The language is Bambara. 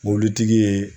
Mobilitigi ye